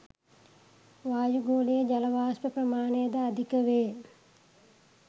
වායුගෝලයේ ජල වාෂ්ප ප්‍රමාණය ද අධික වේ